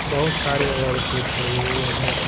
बहोत सारे औरतें खड़े हुए हैं।